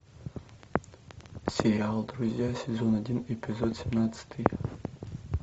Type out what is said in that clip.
сериал друзья сезон один эпизод семнадцатый